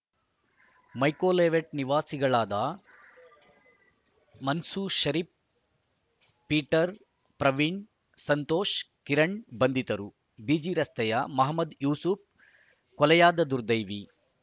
ಮೈಕೋಲೇಔಟ್‌ ನಿವಾಸಿಗಳಾದ ಮನ್ಸೂರ್‌ ಷರೀಫ್‌ ಪೀಟರ್‌ ಪ್ರವೀಣ್‌ ಸಂತೋಷ್‌ ಕಿರಣ್‌ ಬಂಧಿತರು ಬಿಜಿ ರಸ್ತೆಯ ಮೊಹಮದ್‌ ಯೂಸುಫ್‌ ಕೊಲೆಯಾದ ದುರ್ದೈವಿ